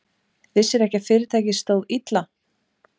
Vissirðu ekki að fyrirtækið stóð illa?